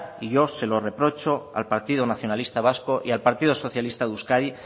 y yo se lo reprocho al partido nacionalista vasco y al partido socialista de euskadi